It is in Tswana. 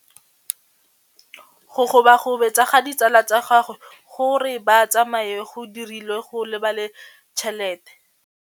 Go gobagobetsa ga ditsala tsa gagwe, gore ba tsamaye go dirile gore a lebale tšhelete.